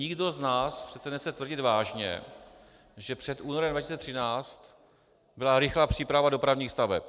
Nikdo z nás přece nechce tvrdit vážně, že před únorem 2013 byla rychlá příprava dopravních staveb.